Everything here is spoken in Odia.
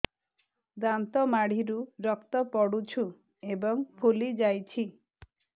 ଦାନ୍ତ ମାଢ଼ିରୁ ରକ୍ତ ପଡୁଛୁ ଏବଂ ଫୁଲି ଯାଇଛି